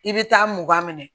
I bɛ taa mugan minɛ